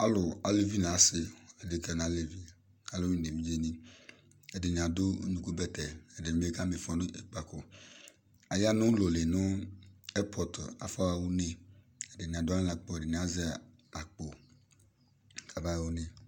Alʋ aluvi nʋ asɩ, adekǝ nʋ alevi, alʋwɩnɩ nʋ evidzenɩ, ɛdɩnɩ adʋ unukubɛtɛ, ɛdɩnɩ bɩ kama ɩfɔ nʋ ikpǝko, aya nʋ ʋlɔ li nʋ ɛpɔt afɔɣa une, ɛdɩnɩ adʋ aɣla nʋ akpo, ɛdɩnɩ azɛ akpo kabaɣa une